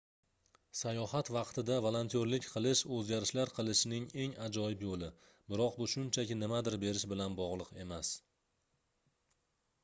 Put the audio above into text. sayohat vaqtida volontyorlik qilish oʻzgarishlar qilishning eng ajoyib yoʻli biroq bu shunchaki nimadir berish bilan bogʻliq emas